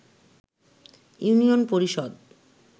union Parishad